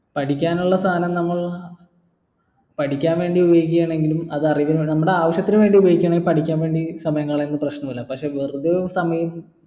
പഠിക്കാനുള്ള സാധനം നമ്മൾ പഠിക്കാൻ വേണ്ടി ഉപയോഗിക്കുകയാണെങ്കിലും അത് അറിവിനും നമ്മള ആവിശ്യത്തിന് വേണ്ടി ഉപയോഗിക്കാണെങ്കിൽ പഠിക്കാൻ വേണ്ടി സമയം കളയുന്നത് പ്രശ്നല്ല പക്ഷെ വെറുതെ സമയം